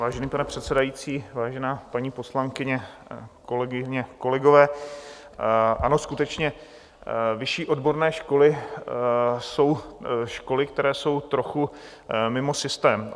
Vážený pane předsedající, vážená paní poslankyně, kolegyně, kolegové, ano, skutečně vyšší odborné školy jsou školy, které jsou trochu mimo systém.